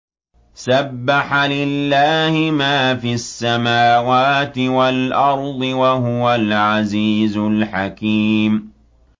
سَبَّحَ لِلَّهِ مَا فِي السَّمَاوَاتِ وَالْأَرْضِ ۖ وَهُوَ الْعَزِيزُ الْحَكِيمُ